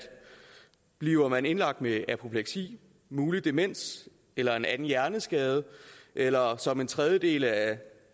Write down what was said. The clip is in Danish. bliver man indlagt med apopleksi mulig demens eller en anden hjerneskade eller som en tredjedel af de